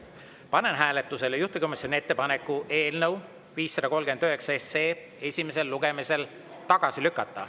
Panen hääletusele juhtivkomisjoni ettepaneku eelnõu 539 esimesel lugemisel tagasi lükata.